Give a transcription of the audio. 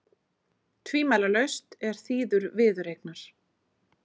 Tvímælalaust er þýður viðureignar